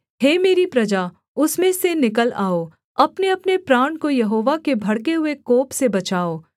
हे मेरी प्रजा उसमें से निकल आओ अपनेअपने प्राण को यहोवा के भड़के हुए कोप से बचाओ